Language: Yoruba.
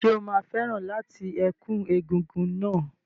Ṣé o máa fẹ́ràn láti ẹ̀kú egúngún náà?